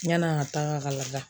Yann'an ga taga ka lada